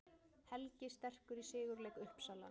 Helgi sterkur í sigurleik Uppsala